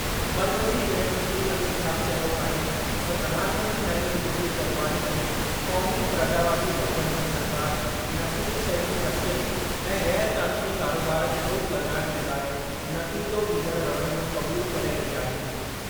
मर्कज़ी गृह मंत्री अमित शाह चयो आहे त प्रधानमंत्री नरेन्द्र मोदीअ जी अॻवानीअ में क़ौमी प्रजावादी गठबं॒धन सरकार नशीली शयुनि जी तस्करी ऐं ग़ैर क़ानूनी कारोबार ते रोक लॻाइणु जे लाइ नतीजो ॾींदड़ रवैयो क़बूलु करे रही आहे।